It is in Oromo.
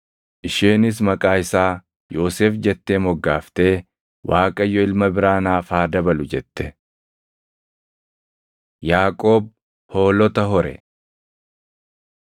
Isheenis maqaa isaa Yoosef jettee moggaaftee, “ Waaqayyo ilma biraa naaf haa dabalu” jette. Yaaqoob Hoolota Hore